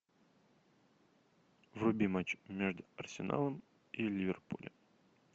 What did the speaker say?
вруби матч между арсеналом и ливерпулем